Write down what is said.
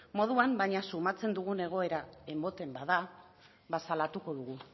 moduan baina sumatzen dugun egoera ematen bada ba salatuko dugu